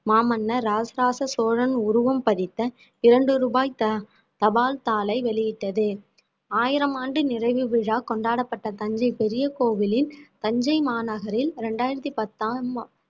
மாமன்னர் இராசராச சோழன் உருவம் பதித்த இரண்டு ரூபாய் த~ தபால் தாளை வெளியிட்டது ஆயிரம் ஆண்டு நிறைவு விழா கொண்டாடப்பட்ட தஞ்சை பெரிய கோவிலில் தஞ்சை மாநகரில் இரண்டாயிரத்தி பத்தாம்